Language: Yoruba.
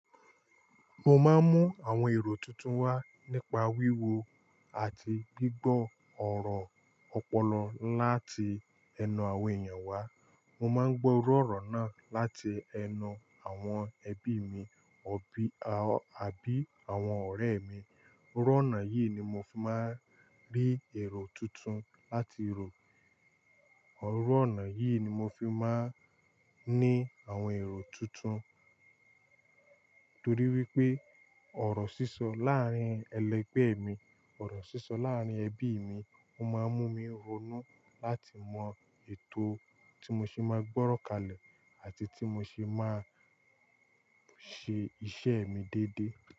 Mo máa ń mú àwọn èrò tuntun wá nípa wíwo àti gbígbọ́ ọ̀rọ̀ ọpọlọ láti ẹnu àwọn èèyàn wá. Mo má ń gbọ́ ọ̀rọ̀ ọ̀nà láti ẹnu àwọn ẹbí mi, àbí àwọn ọ̀rẹ́ mi. Iru onáà yìí ni mo fi máa ń rí èrò tuntun láti rò. Iru ona yìí ni mo fi máa ń ní àwọn èrò tuntun, torí wípé ọ̀rọ̀ sísọ láàárín ẹlẹgbẹ́ mi, ọ̀rọ̀ sísọ láàárín ẹbí mi. Ó máa ń mú mi ronú láti mọ ètò tí mo ṣe máa gbọ́rọ̀kàlẹ̀ àti tí mo ṣe máa ṣe iṣẹ́ mi déédéé.